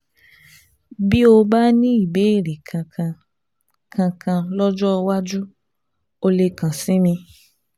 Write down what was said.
Bí o bá ní ìbéèrè kankan kankan lọ́jọ́ iwájú, o lè kàn sí mi